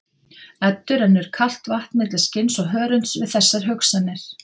Eddu rennur kalt vatn milli skinns og hörunds við þessar hugsanir.